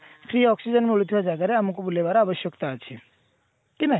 free oxygen ମିଳୁଥିବା ଜାଗାରେ ଆମକୁ ବୁଲେଇବାର ଆବଶ୍ୟକତା ଅଛି କି ନାଇଁ